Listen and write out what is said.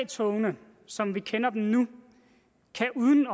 togene som vi kender dem nu kan uden